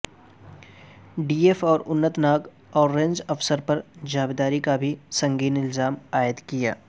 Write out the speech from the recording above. D F O Anantnag اور range افسر پر جانبداری کابھی سنگین الزام عائدکیا